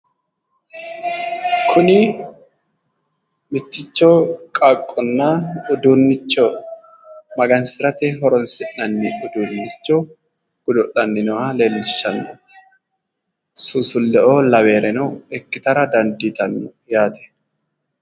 Kunni mitticho qaaqonna uduunicho magansirate horoonsi'nanni uduunicho godo'lanni nooha leelishano. Suusuleo laweoreno ikkittara dandiitano yaate.